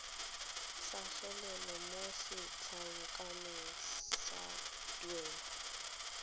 tlhagelela mo setlankaneng sa tuelo